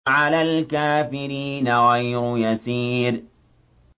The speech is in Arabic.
عَلَى الْكَافِرِينَ غَيْرُ يَسِيرٍ